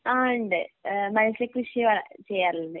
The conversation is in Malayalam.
ആ ഉണ്ട് ഏഹ് മത്സ്യകൃഷി വ ചെയ്യാറുണ്ട്.